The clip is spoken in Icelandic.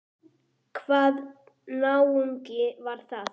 Hvaða náungi var það?